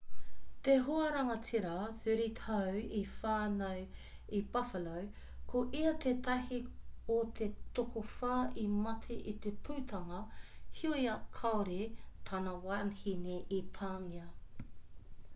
te hoarangatira 30 tau i whānau i buffalo ko ia tētahi o te tokowhā i mate i te pūtanga heoi kāore tana wahine i pāngia